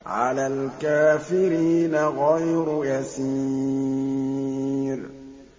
عَلَى الْكَافِرِينَ غَيْرُ يَسِيرٍ